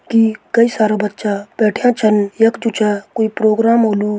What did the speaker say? की कई सारा बच्चा बैठ्यां छन यख जु च कुई प्रोग्राम होलु।